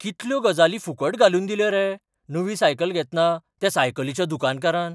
कितल्यो गजाली फुकट घालून दिल्यो रे नवी सायकल घेतना त्या सायकलीच्या दुकानकारान!